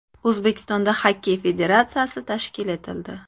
O‘zbekistonda Xokkey federatsiyasi tashkil etildi.